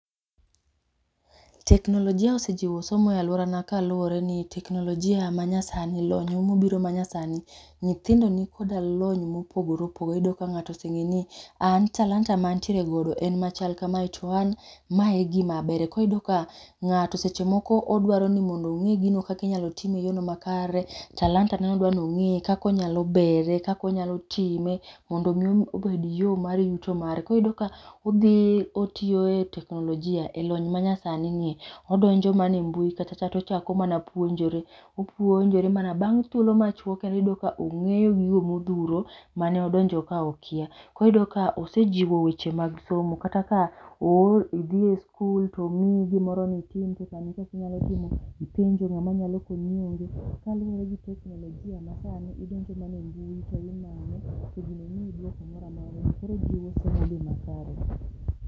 Teknolojia osejiwo somo e aluora na kaluoreni teknolojia ma nyasani lony ma nyasani nyithindo ni koda lony ma opogore opogore iyudo ka ngato ose nge ni an talanta ma an tiere godo en machal ka ma an ma e gim a abere koro iyudo ka ngato seche moko odwa ni onge gino kaka inyalo tim e yo makare ,talanta ne odwa i onge kaka onyalo gere, kaka onyalo time mondo mi obed yo mar yuto mare ki iyudo ka odhi e otiyo e teknolojia e lomny ma nyasani ni odonjo mana e mbui ka cha to ochako mana puonjre, opuonjore mana bang thuolo machuok kendo iyudo ka ong'eyo gigo ma odhuro ,ma ne odonjo ka okia. Koro iyudo ka osejiwo weche mag somo kata ka oori idhi e skul to omiyi gi moro ni itim to otami kaka inyalo timo, ipenjo ng'a ma nyalo konyi onge gi teknolojia ma sani mar mbui to gino miyi dwoko ma kare.